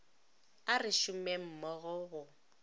a re šomeng mmogo go